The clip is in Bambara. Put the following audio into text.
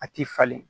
A ti falen